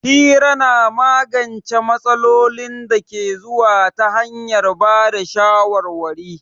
Hira na magance matsalolin da ke zuwa ta hanyar ba da shawarwari.